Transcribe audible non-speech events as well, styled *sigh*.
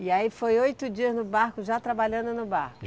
E aí foi oito dias no barco, já trabalhando no barco. *unintelligible*